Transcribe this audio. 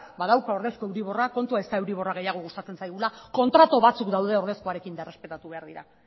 badauka ordezko euriborra kontua ez da euriborra gehiago gustatzen zaigula kontratu batzuk daude ordezkoarekin eta errespetatu egin behar dira